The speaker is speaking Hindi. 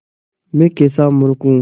मैं कैसा मूर्ख हूँ